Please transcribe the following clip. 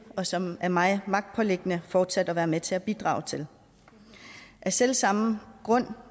og som det er mig magtpåliggende fortsat at være med til at bidrage til af selv samme grund